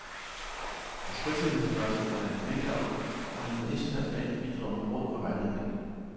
Hans fritidsinteresse er minkavl, hvor han på internationalt plan bidrager med råd og vejledning.